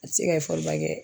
A ti se ka ba kɛ